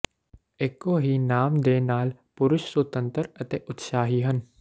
ਇੱਕੋ ਹੀ ਨਾਮ ਦੇ ਨਾਲ ਪੁਰਸ਼ ਸੁਤੰਤਰ ਅਤੇ ਉਤਸ਼ਾਹੀ ਹਨ